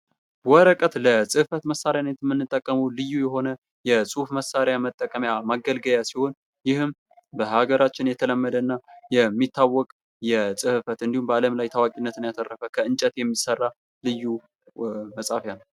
ወረቀት ለፅህፈት መሳሪያ የምንጠቀመው ልዩ የሆነ የፅሁፍ መሳሪያ መጠቀሚያ መገልገያ ሲሆን ይህም በሀገራችን የተለመደ እና የሚታወቅ የፅህፈት እንዲሁም በአለም ላይ ታዋቂነትን ያተረፈ ከእንጨት የሚሰራ ልዩ መፃፍያ ነው ።